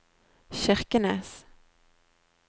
Kirkenes